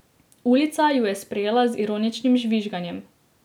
Ulica ju je sprejela z ironičnim žvižganjem.